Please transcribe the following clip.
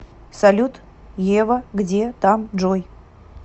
салют ева где там джой